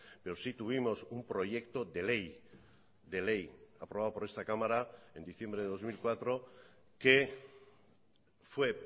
pero sí tuvimos un proyecto de ley de ley aprobado por esta cámara en diciembre de dos mil cuatro que fue